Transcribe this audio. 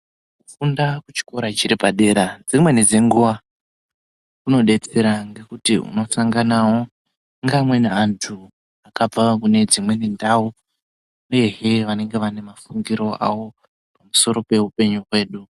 Kufunda kuchikora chiri padera dzimweni dzenguwa kundodetsera ngekuti unosangana ngeamweni anthu akabvawo kune dzimweni ndau, uyezve vanenge vane mafungiro awo pamusoro peupenyu hwedu.